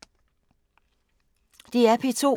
DR P2